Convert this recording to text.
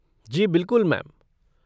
जी बिल्कुल मैम।